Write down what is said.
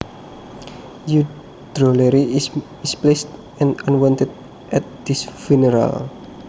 Your drollery is misplaced and unwanted at this funeral